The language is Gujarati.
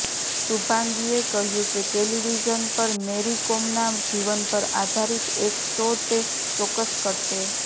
શુભાંગીએ કહ્યુકે ટેલીવિઝન પર મેરી કોમના જીવન પર આધારિત એક શો તે ચોક્કસ કરશે